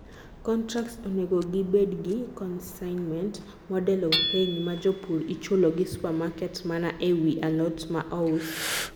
contracts onego gik bedi gi 'consignment model of paying' maa jopur ichulo gi supermarket mana e wii alot ma ous